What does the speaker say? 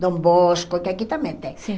Dom Bosco, que aqui também tem. Sim